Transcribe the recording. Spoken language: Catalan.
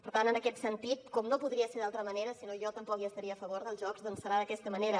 per tant en aquest sentit com no podria ser d’altra manera si no jo tampoc hi estaria a favor dels jocs serà d’aquesta manera